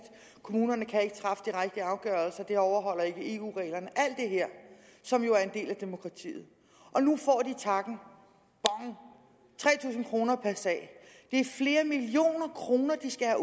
kommunerne kan ikke træffe de rigtige afgørelser det overholder ikke eu reglerne alt det her som jo er en del af demokratiet og nu får de takken bang tre tusind kroner per sag det er flere millioner kroner